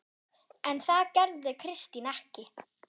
En það gerði Kristín ekki.